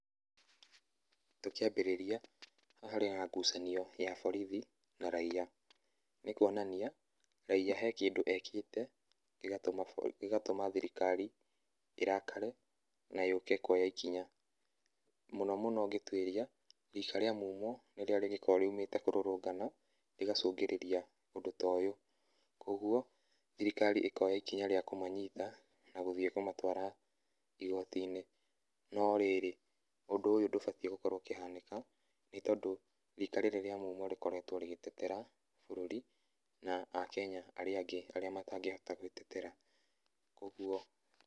Tũkĩambĩrĩria, haha harĩ na ngucanio ya borithi na raia. Nĩ kuonania, raia he kĩndũ ekĩte, gĩgatuma , gĩgatuma thirikari ĩrakare na yũke kuoya ikinya. Mũno mũno ũngĩtuĩria, rika rĩa mumo nĩrĩo rĩgĩkoo riumĩte kũrũrũngana, rĩgacũngĩria ũndũ ta ũyũ. Koguo, thirikari ĩkoya ikinya rĩa kũmanyita, na gũthiĩ kũmatwara igoti-inĩ. No rĩrĩ, ũndũ ũyũ ndũbatiĩ gũkorwo ũkĩhanĩka nĩ tondũ rika rĩrĩ rĩa mumo rĩkoretwo rĩgĩtetera bũrũri na aKenya arĩa angĩ, arĩa matangĩhota gwĩtetera. Koguo